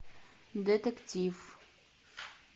детектив